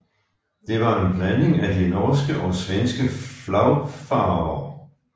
Det var en blanding af de norske og svenske flagfarver